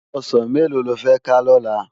Òsán méló ló fè ká lòlá?